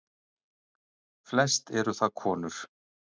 Flest eru það konur.